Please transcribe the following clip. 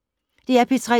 DR P3